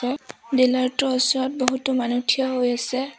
উম dealer টোৰ ওচৰত বহুতো মানুহ থিয় হৈ আছে।